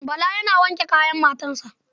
Bala yana wanke kayan matansa.